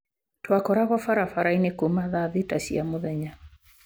Twakoragwo barabara-inĩ kuuma thaa thita cia mũthenya.